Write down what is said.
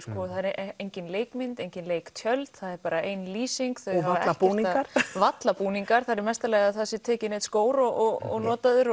engin leikmynd engin leiktjöld bara ein lýsing varla búningar varla búningar það er í mesta lagi að það sé tekinn einn skór og notaður